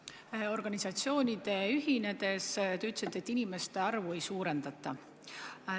Te ütlesite, et organisatsioonide ühinedes inimeste arvu ei suurendata.